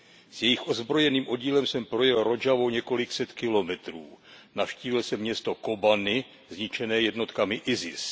S jejich ozbrojeným oddílem jsem projel Rodžavou několik set kilometrů. Navštívil jsem město Kobani zničené jednotkami IS.